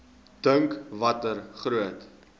dink watter groot